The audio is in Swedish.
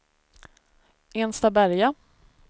Enstaberga